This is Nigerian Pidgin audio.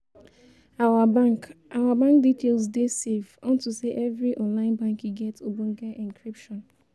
our bank our bank details dey safe unto sey evri online banking get ogbonge encryption